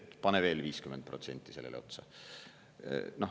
Ehk et pane veel 50% sellele otsa.